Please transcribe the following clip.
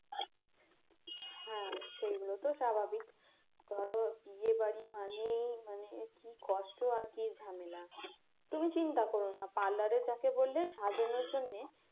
হ্যাঁ সেইগুলো তো স্বাভাবিক ধরো বিয়ে বাড়ি মানে মানে কি কষ্ট আর কি ঝামেলা তুমি চিন্তা কর না parlour এ যাকে বললে সাজানোর জন্যে